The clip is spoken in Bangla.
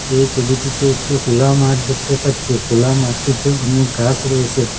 এই ছবিটিতে একটি খুলা মাঠ দেখতে পাচ্ছি খুলা মাঠটিতে অনেক গাছ রয়েছে।